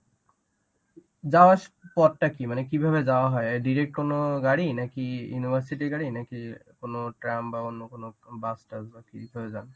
যাওয়ার পথটা কি? মানে কিভাবে যাওয়া হয় direct কোন গাড় নাকি university র গাড় নাকি কোন tram বাহঃ অন্য কোন bus টাস বা কি করে যান?